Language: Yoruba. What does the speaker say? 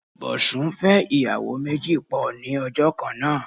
Bọ̀sún fẹ́ ìyàwó méjì pọ̀ ní ọjọ́ kan náà.